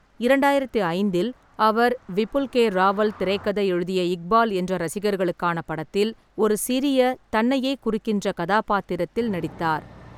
இரண்டாயிரத்தி ஐந்தில் அவர், விபுல் கே ராவல் திரைக்கதை எழுதிய இக்பால் என்ற ரசிகர்களுக்கான படத்தில் ஒரு சிறிய, தன்னையே குறிக்கின்ற கதாபாத்திரத்தில் நடித்தார்.